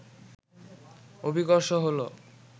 অভিকর্ষ হলো